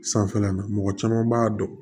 Sanfɛla la mɔgɔ caman b'a dɔn